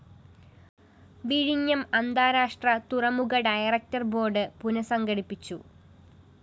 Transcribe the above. വിഴിഞ്ഞം അന്താരാഷ്ട്ര തുറമുഖ ഡയറക്ടർ ബോർഡ്‌ പുനഃസംഘടിപ്പിച്ചു